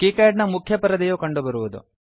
KiCad ನ ಮುಖ್ಯ ಪರದೆಯು ಕಂಡುಬರುವುದು